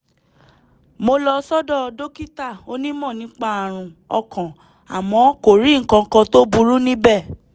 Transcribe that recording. mo lọ sọ́dọ̀ dókítà onímọ̀ nípa ààrùn ọkàn àmọ́ kò rí nǹkan kan tó burú níbẹ̀